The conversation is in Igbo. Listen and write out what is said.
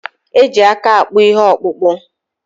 Eji aka akpụ ihe okpụkpu